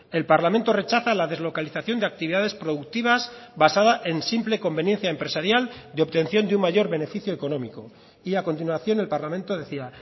el parlamento rechaza la deslocalización de actividades productivas basada en simple conveniencia empresarial de obtención de un mayor beneficio económico y a continuación el parlamento decía